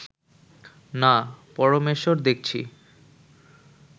নাঃ, পরমেশ্বর দেখছি